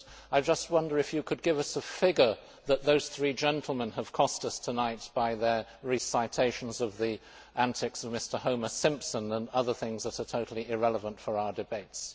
But I just wonder if you could give us a figure for what those three gentlemen have cost us tonight by their recitations of the antics of Mr Homer Simpson and other things that are totally irrelevant to our debates.